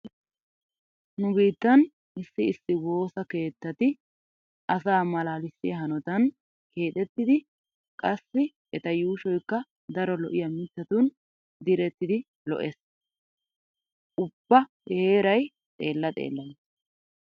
Nu biittan issi issi woosa keettati asaa malaalissiya hanotan keexettidi qassi eta yuushoykka daro lo'iya mittatun direttidi lo'ees. Ubba he heeray xeella xeella gees.